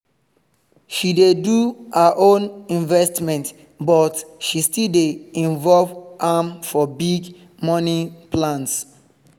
she dey do her own investment but she still dey involve am for big money plans